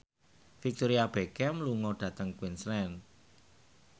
Victoria Beckham lunga dhateng Queensland